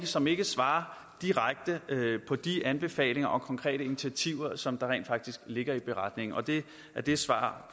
som ikke svarer direkte på de anbefalinger og konkrete initiativer som der rent faktisk ligger i beretningen og det er det svar